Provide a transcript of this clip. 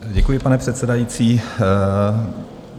Děkuji, pane předsedající.